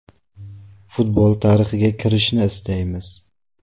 Futbol tarixiga kirishni istaymiz.